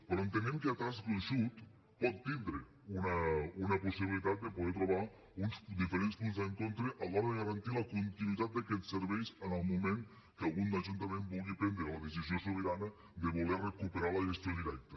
però entenem que a traç gruixut pot tindre una possibilitat de poder trobar uns diferents punts d’encontre a l’hora de garantir la continuïtat d’aquests serveis en el moment que algun ajuntament vulgui prendre la decisió sobirana de voler recuperar la gestió directa